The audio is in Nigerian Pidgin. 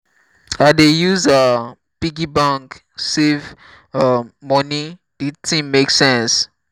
i dey use um piggy bank save um moni di tin make sense. um